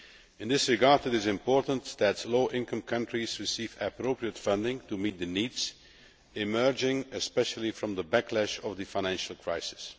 In this regard, it is important that low income countries receive appropriate funding to meet the needs emerging especially from the backlash of the financial crisis.